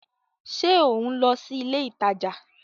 Ṣe o nlọ si ilé ìtàjà?